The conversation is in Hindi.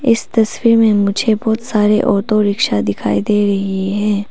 इस तस्वीर में मुझे बहुत सारे ऑटो रिक्शा दिखाई दे रही है।